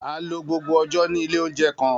A lo gbogbo ọjọ ni ile ounjẹ kan.